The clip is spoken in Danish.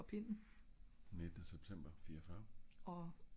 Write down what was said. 19 september 49